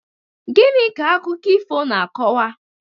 Gịnị ka akụkọ ifo na-akọwa?